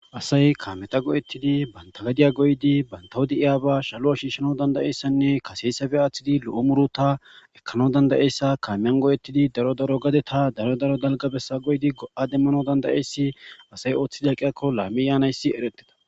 asay kaameta go7ettidi bantagadiya goydi bantawodi iyaba shalu7a shiishshano dandayeyssanne kaseysabe aaththidi lo7o muru ta ekkano dandayeyssa kaamiyan go7ettidi daro daro gade ta daro daro dalgabesa goyidi go7a demmano dandayeyssi asay ooththi daaqiakko laami yaanayssi ereteta